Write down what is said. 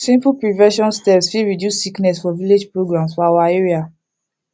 simple prevention steps fit reduce sickness for village programs for our area